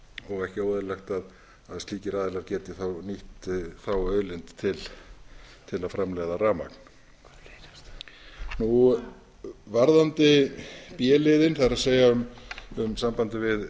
og ekki óeðlilegt að slíkir aðilar geti þá nýtt þá auðlind til að framleiða rafmagn varðandi b liðinn það er í sambandi við